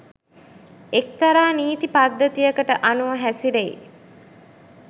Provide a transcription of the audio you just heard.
එක්තරා නීති පද්ධතියකට අනුව හැසිරෙයි